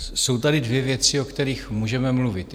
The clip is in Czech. Jsou tady dvě věci, o kterých můžeme mluvit.